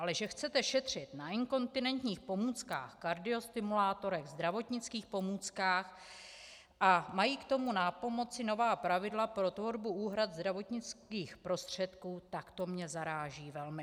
Ale že chcete šetřit na inkontinenčních pomůckách, kardiostimulátorech, zdravotnických pomůckách a mají k tomu pomoci nová pravidla pro tvorbu úhrad zdravotnických prostředků, tak to mě zaráží velmi.